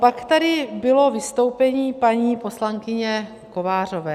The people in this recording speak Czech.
Pak tady bylo vystoupení paní poslankyně Kovářové.